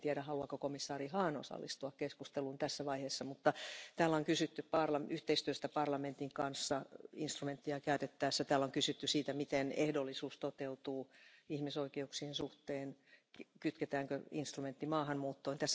En tiedä, haluaako komissaari Hahn osallistua keskusteluun tässä vaiheessa, mutta täällä on kysytty yhteistyöstä parlamentin kanssa instrumenttia käytettäessä, täällä on kysytty siitä, miten ehdollisuus toteutuu ihmisoikeuksien suhteen, kytketäänkö instrumentti maahanmuuttoon...